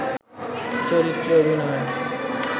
চরিত্রে অভিনয়